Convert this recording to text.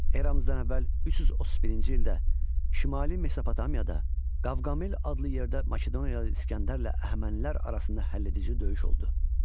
Eramızdan əvvəl 331-ci ildə Şimali Mesopotamiyada Qavqamel adlı yerdə Makedoniyalı İsgəndərlə Əhəmənilər arasında həlledici döyüş oldu.